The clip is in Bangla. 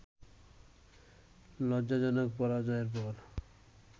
লজ্জাজনক পরাজয়ের পর